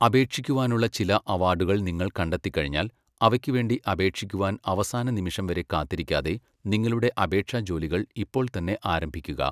അപേക്ഷിക്കുവാനുള്ള ചില അവാഡുകൾ നിങ്ങൾ കണ്ടെത്തികഴിഞ്ഞാൽ, അവയ്ക്കുവേണ്ടി അപേക്ഷിക്കുവാൻ അവസാന നിമിഷംവരെ കാത്തിരിക്കാതെ, നിങ്ങളുടെ അപേക്ഷാജോലികൾ ഇപ്പോൾത്തന്നെ ആരംഭിക്കുക.